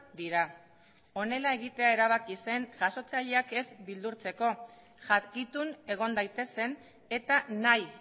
dira honela egitea erabaki zen jasotzaileak ez beldurtzeko jakitun egon daitezen eta nahi